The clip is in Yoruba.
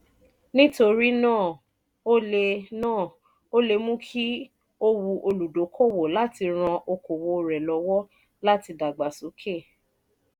nítorí náà o lé náà o lé è mú kí ó wù olùdókòwò láti ran okòwò rẹ lọ́wọ́ láti dàgbà sókè